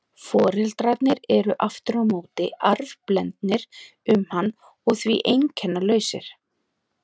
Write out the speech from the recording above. Foreldrarnir eru aftur á móti arfblendnir um hann og því einkennalausir.